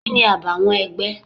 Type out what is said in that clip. Kini àbàwọ́n ẹgbẹ́?